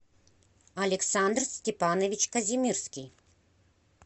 александр степанович казимирский